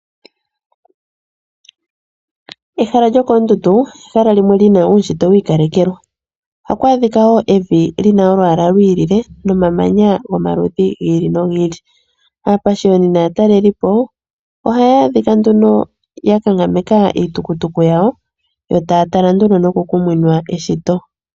Ehala yoondundu olyina uushitwe wiikalekelwa oshoka oto vulu oku adhako evi lyina olwaala lwiilile nomamanya ga yoolokathana. Aapashiyoni naatalelipo ohaya adhika nduno ya kankameka iitukutuku yawo yo taya tala nduno noku kuminwa eshito.